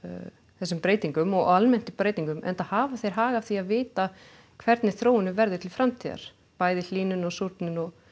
þessum breytingum og almennt á breytingum enda hafa þeir hag af því að vita hvernig þróunin verður til framtíðar bæði hlýnun og súrnun og